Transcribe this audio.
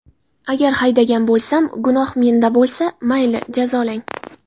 Agar haydagan bo‘lsam, gunoh menda bo‘lsa, mayli jazolang.